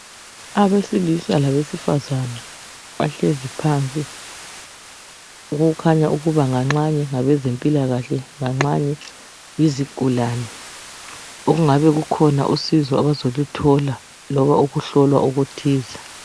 Abesilisa labesifazane, bahlezi phansi. Okukhanya ukuba ngangxanye ngabezempilakahle , ngangxanye yizigulane. Okungabe kukhona usizo abazeluthole loba ukuhlolwa okuthile.